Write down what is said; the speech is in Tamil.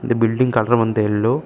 பில்டிங் கலர் வந்து எல்லோ .